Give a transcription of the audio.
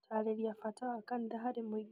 Gutaarĩria bata wa kanitha hari mũingĩ